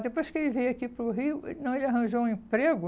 Depois que ele veio aqui para o Rio, ele não ele arranjou um emprego.